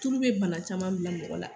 Tulu bɛ bana caman bila mɔgɔ la